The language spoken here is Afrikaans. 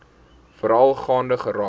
veral gaande geraak